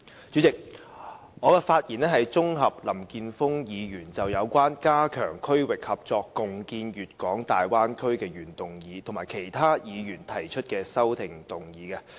主席，我綜合就林健鋒議員就有關"加強區域合作，共建粵港澳大灣區"的原議案，以及其他議員提出的修訂議案發言。